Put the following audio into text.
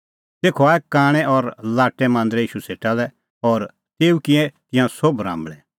तेखअ आऐ कांणै और लाट्टै मांदरै ईशू सेटा लै और तेऊ किऐ तिंयां सोभ राम्बल़ै